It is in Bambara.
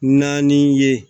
Naani ye